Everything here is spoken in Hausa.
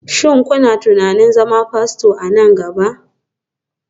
Shin kuna tunanin zama Fasto a nan gaba?